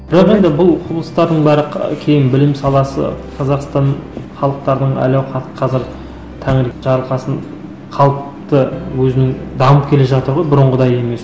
бірақ енді бұл құбылыстардың бәрі ы кейін білім саласы қазақстан халықтардың әл ауқаты қазір тәңір жарылқасын халықты өзінің дамып келе жатыр ғой бұрынғыдай емес